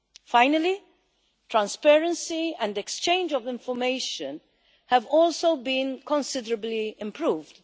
Finally, transparency and exchange of information have also been considerably improved.